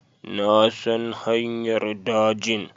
Na san hanyar dajin